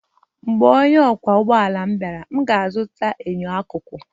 Mgbe onye ọkwọ ụgbọala m bịara, m ga-azụta enyo akụkụ